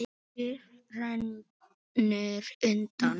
Bægisá rennur undan.